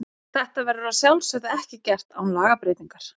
Þetta verður að sjálfsögðu ekki gert án lagabreytingar.